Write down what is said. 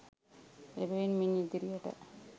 එබැවින් මින් ඉදිරියට